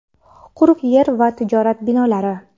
quruq yer va tijorat binolari!.